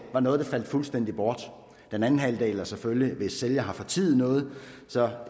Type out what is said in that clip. var noget der faldt fuldstændig bort den anden halvdel er selvfølgelig stadig at hvis sælger har fortiet noget